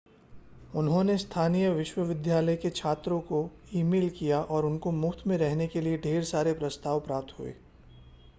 उन्होंने स्थानीय विश्वविद्यालय के छात्रों को ईमेल किया और उनको मुफ्त में रहने के लिए ढेर सारे प्रस्ताव प्राप्त हुए